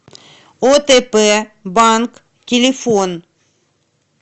отп банк телефон